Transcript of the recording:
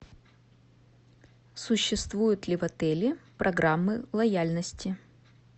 существуют ли в отеле программы лояльности